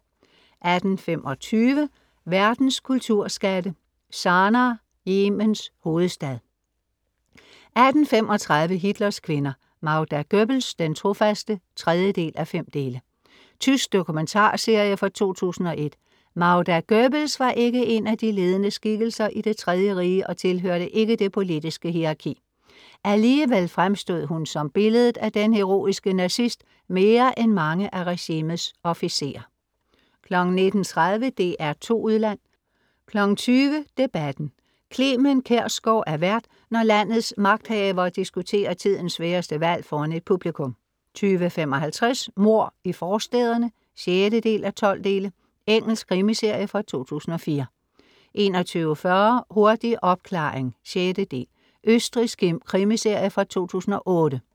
18:25 Verdens kulturskatte "Sanaa, Yemens hovedstad" 18:35 Hitlers kvinder: Magda Goebbels, den trofaste (3:5) Tysk dokumentarserie fra 2001 Magda Goebbels var ikke en af de ledende skikkelser i Det tredje Rige og tilhørte ikke det politiske hierarki. Alligevel fremstod hun som billedet af den heroiske nazist mere end mange af regimets officerer 19:30 DR2 Udland 20:00 Debatten. Clement Kjersgaard er vært, når landets magthavere diskuterer tidens sværeste valg foran et publikum 20:55 Mord i forstæderne (6:12) Engelsk krimiserie fra 2004 21:40 Hurtig opklaring (6) Østrigsk krimiserie fra 2008